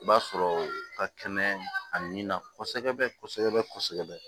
I b'a sɔrɔ ka kɛnɛ a nin na kɔsɛbɛ kɔsɛbɛ kɔsɛbɛ